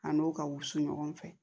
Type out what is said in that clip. A n'o ka wusu ɲɔgɔn fɛ